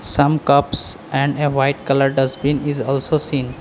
Some cups and a white colour dustbin is also seen.